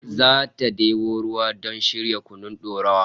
Zata debo ruwa don shirya kunun dorawa